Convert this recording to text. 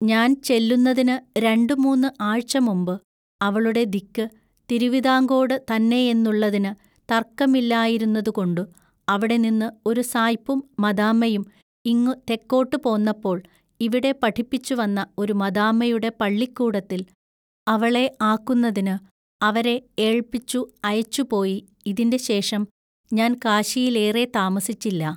ഞാൻ ചെല്ലുന്നതിനു രണ്ടു മൂന്നു ആഴ്ചമുമ്പ് അവളുടെ ദിക്കു തിരുവിതാങ്കോടു തന്നെയെന്നുള്ളതിനു തൎക്കമില്ലായിരുന്നതുകൊണ്ടു അവിടെനിന്ന് ഒരു സായ്പും മദാമ്മയും ഇങ്ങു തെക്കോട്ടു പോന്നപ്പോൾ ഇവിടെ പഠിപ്പിച്ചുവന്ന ഒരു മദാമ്മയുടെ പള്ളിക്കൂടത്തിൽ അവളെ ആക്കുന്നതിനു അവരെ ഏൾപിച്ചു അയച്ചുപോയി ഇതിന്റെ ശേഷം ഞാൻ കാശിയിലേറെ താമസിച്ചില്ല.